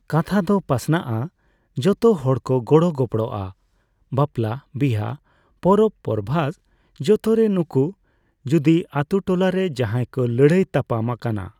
ᱠᱟᱛᱷᱟ ᱫᱚ ᱯᱟᱥᱱᱟᱜᱼᱟ ᱾ᱡᱚᱛᱚ ᱦᱚᱲ ᱠᱚ ᱜᱚᱲᱚ ᱜᱚᱯᱲᱚᱜᱼᱟ ᱾ᱵᱟᱯᱞᱟ ᱵᱤᱦᱟᱹ ᱯᱚᱨᱚᱵᱽ ᱯᱚᱨᱵᱷᱟᱥ ᱡᱚᱛᱚ ᱨᱮ ᱱᱩᱠᱩ ᱾ ᱡᱩᱫᱤ ᱟᱹᱛᱩ ᱴᱚᱞᱟᱨᱮ ᱡᱟᱦᱟᱸᱭ ᱠᱚ ᱞᱟᱹᱲᱦᱟᱹᱭ ᱛᱟᱯᱟᱢ ᱟᱠᱟᱱᱟ ᱾